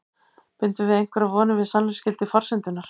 Bindum við einhverjar vonir við sannleiksgildi forsendunnar?